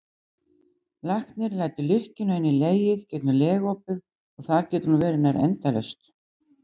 Læknir lætur lykkjuna inn í legið gegnum legopið og þar getur hún verið nær endalaust.